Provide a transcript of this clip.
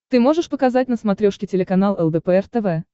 ты можешь показать на смотрешке телеканал лдпр тв